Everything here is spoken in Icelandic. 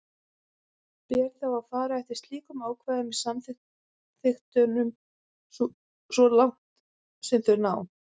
Ber þá að fara eftir slíkum ákvæðum í samþykktunum svo langt sem þau ná.